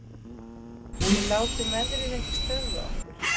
Við látum veðrið ekki stöðva okkur